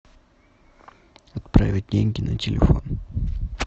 отправить деньги на телефон